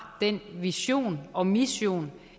den vision og mission